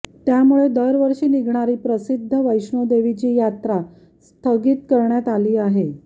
त्यामुळे दरवर्षी निघणारी प्रसिद्ध वैष्णोदेवीची यात्रा स्थगित करण्यात आली आहे